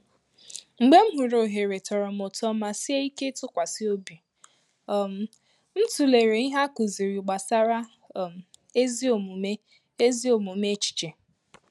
Mgbe m hụrụ ohere tọrọ m ụtọ ma sie íké ịtụkwasị ọ̀bì, um m tụlere ìhè a kụziri gbasara um ezi omume ezi omume echiche